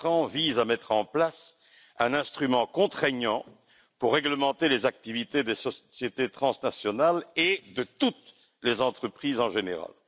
visent à mettre en place un instrument contraignant pour réglementer les activités des sociétés transnationales et de toutes les entreprises en général.